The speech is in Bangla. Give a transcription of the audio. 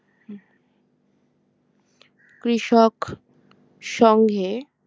কৃষক সংঘে